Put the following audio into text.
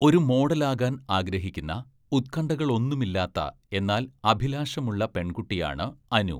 ഒരു മോഡലാകാൻ ആഗ്രഹിക്കുന്ന ഉത്‌ക്കണ്‌ഠകളൊന്നുമില്ലാത്ത എന്നാൽ അഭിലാഷമുള്ള പെൺകുട്ടിയാണ് അനു.